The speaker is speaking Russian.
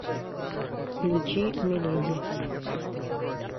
включи миледи